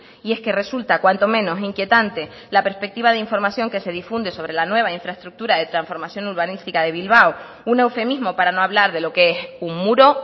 y es que resulta cuanto menos inquietante la perspectiva de información que se difunde sobre la nueva infraestructura de transformación urbanística de bilbao un eufemismo para no hablar de lo que es un muro